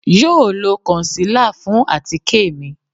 Yoo lo concealer fun atike mi